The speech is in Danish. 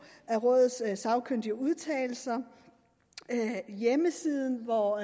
af rådets sagkyndige udtalelser hjemmesiden hvor